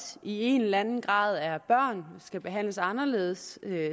i en eller anden grad er børn og skal behandles anderledes